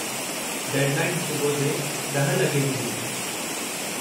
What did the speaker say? Deadline सुबुह जे 10 लॻे जी हुई।